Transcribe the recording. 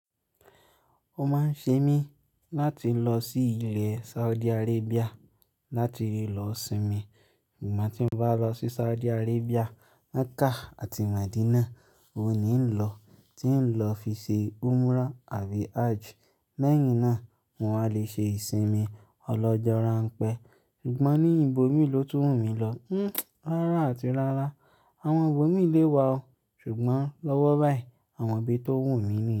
Ó máa ń ṣe mí láti lọ sí ilẹ̀ Saudi Arabia láti lẹ lọ sinmi. Ṣùgbọ́n tí n bá lọ sí Saudi Arabia, Mecca àti Medina ò ní ń lọ. Tí ń lọ fi ṣe umrah àbí hajj. Lẹ́yìn náà mo wà lè ṣe ìsinmi ọlọ́jọ́ ráń pẹ́. Ṣùgbọ́n ní ìbò mí ló tún wumí lọ. Hhn, rárá àti lára. Àwọn ibò mí lé wa o. Ṣùgbọ́n lọ́wọ́ báyìí àwọn òbí tó wù mí ni.